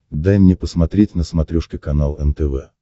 дай мне посмотреть на смотрешке канал нтв